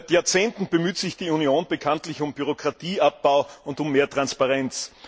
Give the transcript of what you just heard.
Seit Jahrzehnten bemüht sich die Union bekanntlich um Bürokratieabbau und um mehr Transparenz.